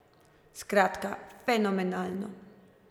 Skratka, fenomenalno!